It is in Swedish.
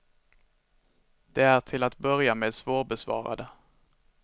De är till att börja med svårbesvarade.